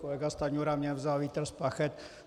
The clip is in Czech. Kolega Stanjura mně vzal vítr z plachet.